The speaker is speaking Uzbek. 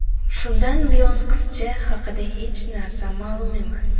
Shundan buyon qizcha haqida hech narsa ma’lum emas.